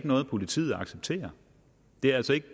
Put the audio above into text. noget politiet accepterer det er altså ikke